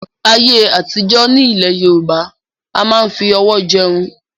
ayé àtijọ́ ní ilẹ̀ Yorùbá a máa ń fi ọwọ́ jẹun